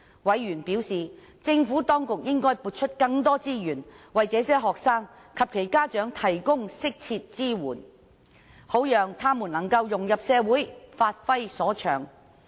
委員表示，政府當局應該撥出更多資源，為這些學生及其家長提供適切支援，好讓他們能夠融入社會，發揮所長。